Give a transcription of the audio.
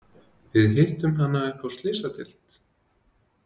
Við hittum hana uppi á Slysadeild.